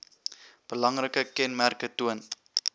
belangrike kenmerke toon